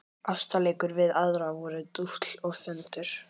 Ástarleikir við aðra voru dútl og föndur.